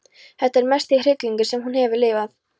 Þetta er mesti hryllingur sem hún hefur lifað.